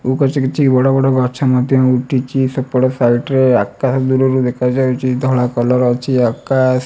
କିଛି ବଡ ବଡ ଗଛ ମଧ୍ୟ ଉଠିଚି ସେପଟ ସାଇଟ ରେ ଆକାଶ ଦୂରରୁ ଦେଖାଯାଉଚି ଧଳା କଲର ଅଛି ଆକାଶ --